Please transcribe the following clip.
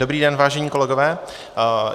Dobrý den, vážení kolegové.